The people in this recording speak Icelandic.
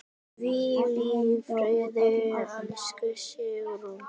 Hvíl í friði, elsku Sigrún.